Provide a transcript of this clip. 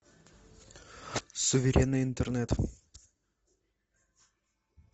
суверенный интернет